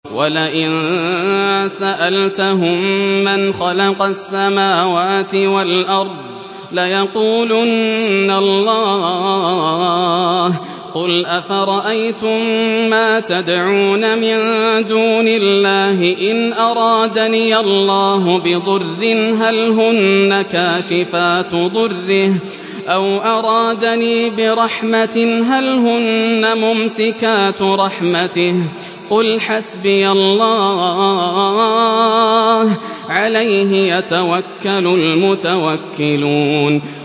وَلَئِن سَأَلْتَهُم مَّنْ خَلَقَ السَّمَاوَاتِ وَالْأَرْضَ لَيَقُولُنَّ اللَّهُ ۚ قُلْ أَفَرَأَيْتُم مَّا تَدْعُونَ مِن دُونِ اللَّهِ إِنْ أَرَادَنِيَ اللَّهُ بِضُرٍّ هَلْ هُنَّ كَاشِفَاتُ ضُرِّهِ أَوْ أَرَادَنِي بِرَحْمَةٍ هَلْ هُنَّ مُمْسِكَاتُ رَحْمَتِهِ ۚ قُلْ حَسْبِيَ اللَّهُ ۖ عَلَيْهِ يَتَوَكَّلُ الْمُتَوَكِّلُونَ